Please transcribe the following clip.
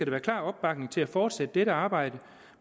være klar opbakning til at fortsætte dette arbejde